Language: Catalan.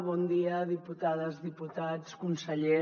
bon dia diputades diputats conseller